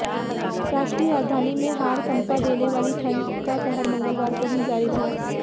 राष्ट्रीय राजधानी में हाड़ कंपा देने वाली ठंड का कहर मंगलवार को भी जारी रहा